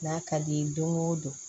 N'a ka di ye don go don